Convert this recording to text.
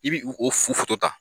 I bi u o ta.